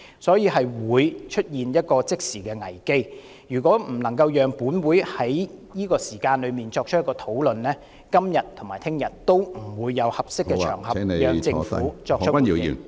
香港正面臨即時危機，如果本會不能在此時作出討論，今天和明天也不會有合適場合讓政府作出回應。